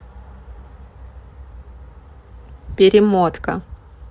перемотка